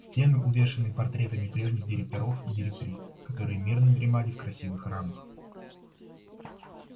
стены увешаны портретами прежних директоров и директрис которые мирно дремали в красивых рамах